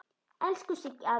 Elsku Siggi afi.